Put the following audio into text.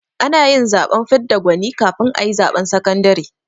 Ana yin zaɓen fidda gwani kafin a yi zaɓen sakandare